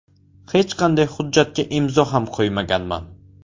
Hech qanday hujjatga imzo ham qo‘ymaganman.